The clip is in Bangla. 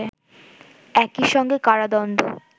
একইসঙ্গে কারাদণ্ড